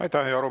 Aitäh!